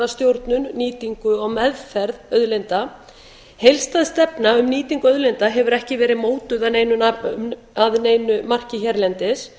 stjórnun nýtingu og meðferð auðlinda heildstæð stefna um nýtingu auðlinda hefur ekki verið mótuð að neinu marki hérlendis